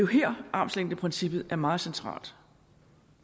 her at armslængdeprincippet er meget centralt